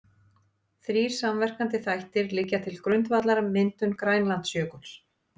Þrír samverkandi þættir liggja til grundvallar myndun Grænlandsjökuls.